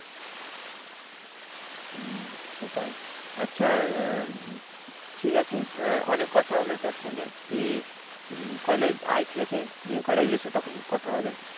হম সেটাই, আচ্ছা ঠিক আছে অনেক কথা হল তোর সঙ্গে তুই college আয় ঠিক আছে গিয়ে college এসে তখন কথা হবে।